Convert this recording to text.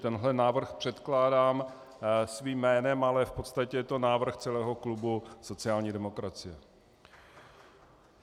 Tenhle návrh předkládám svým jménem, ale v podstatě je to návrh celého klubu sociální demokracie.